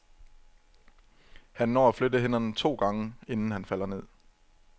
Han når at flytte hænderne to gange, inden han falder ned.